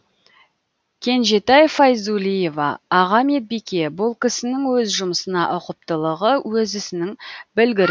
кенжетай файзуллиева аға медбике бұл кісінің өз жұмысына ұқыптылығы өз ісінің білгірі